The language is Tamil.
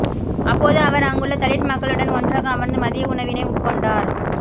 அப்போது அவர் அங்குள்ள தலித் மக்களுடன் ஒன்றாக அமர்ந்து மதிய உணவினை உட்கொண்டார்